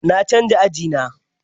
Na canja aji na.